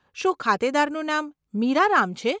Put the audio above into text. શું ખાતેદારનું નામ મીરા રામ છે?